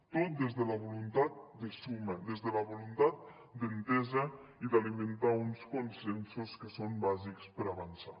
tot des de la voluntat de suma des de la voluntat d’entesa i d’alimentar uns consensos que són bàsics per avançar